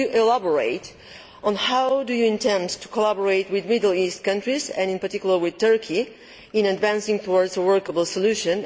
Could you elaborate on how you intend to collaborate with Middle East countries, and in particular with Turkey, in advancing towards a workable solution?